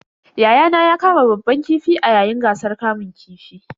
Yayana ya kama babban kifi a yayin gasar kamun kifin.